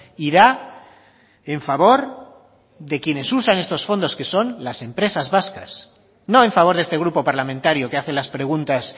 irá en favor de quienes usan estos fondos que son las empresas vascas no en favor de este grupo parlamentario que hace las preguntas